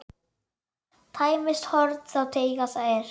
Tæmist horn þá teygað er.